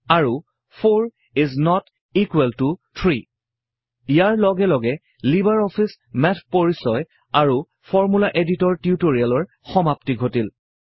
আৰু 4 is not equal ত 3 ইয়াৰ লগে লগে লিবাৰ অফিচ মেথ পৰিচয় আৰু ফৰ্মূলা এডিটৰ টিউটৰিয়েলৰ সমাপ্তি ঘটিল